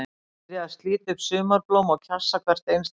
Hann byrjaði að slíta upp sumarblóm og kjassa hvert einstakt þeirra.